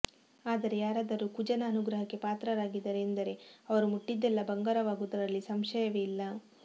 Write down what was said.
ಆದರೆ ಯಾರಾದರೂ ಕುಜನ ಅನುಗ್ರಹಕ್ಕೆ ಪಾತ್ರರಾಗಿದ್ದಾರೆ ಎಂದರೆ ಅವರು ಮುಟ್ಟಿದ್ದೆಲ್ಲಾ ಬಂಗಾರವಾಗುವುದರಲ್ಲಿ ಸಂಶಯವೇ ಇಲ್ಲ